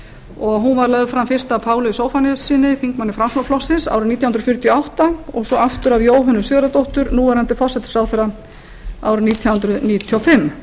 og hún var lögð fram fyrst af páli zóphóníassyni þingmanni framsóknarflokksins árið nítján hundruð fjörutíu og átta og svo aftur af jóhönnu sigurðardóttur núv forsætisráðherra árið nítján hundruð níutíu og fimm